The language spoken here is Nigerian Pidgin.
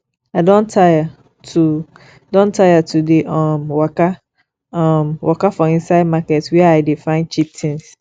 i don tire to don tire to dey um waka um waka for inside market where i dey find cheap tins